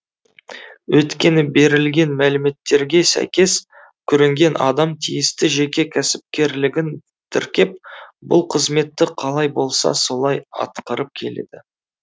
өйткені берілген мәліметтерге сәйкес көрінген адам тиісті жеке кәсіпкерлігін тіркеп бұл қызметті қалай болса солай атқарып келеді